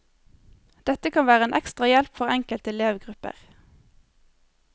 Dette kan være en ekstra hjelp for enkelte elevgrupper.